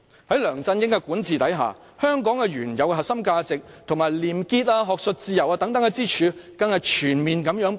在梁振英的管治下，香港原有的核心價值，以及廉潔、學術自由等支柱更不斷全面潰敗。